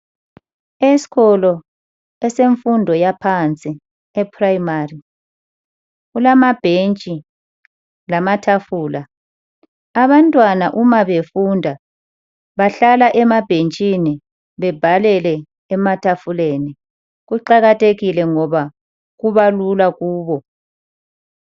Esikolo esemfundo yaphansi kulamabhentshi lamatafula. Abantwana uma befunda bahlala emabhentshini bebhalele ematafuleni kuqakathekile ngoba kubalula kubo.